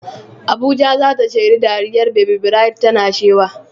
Abuja za ta shaidi dariyar Baby Bright tana shewa.